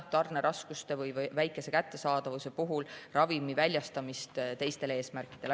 Tarneraskuste või vähese kättesaadavuse puhul tuleb ära hoida ravimi väljastamist teistel eesmärkidel.